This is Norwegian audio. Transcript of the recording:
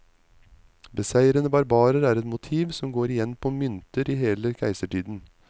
Beseirede barbarer er et motiv, som går igjen på mynter i hele keisertiden.